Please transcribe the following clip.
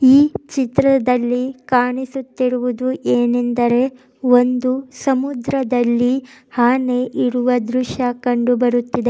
ಈ ಚಿತ್ರದಲ್ಲಿ ಕಾಣಿಸುತ್ತಿರುವುದೇನೆಂದರೆ ಒಂದು ಸಮುದ್ರದಲ್ಲಿ ಆನೆ ಇರುವ ದೃಶ್ಯ ಕಂಡುಬರುತ್ತದೆ.